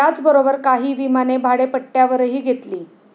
याचबरोबर काही विमाने भाडेपट्ट्यावरही घेतली.